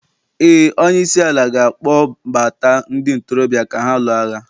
ee, onye isi ala ga-akpọ gbata ndị ntorobịa ka ha lụọ agha